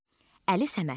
Əli Səmədli.